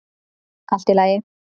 Allt í lagi.